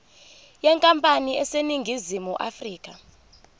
yenkampani eseningizimu afrika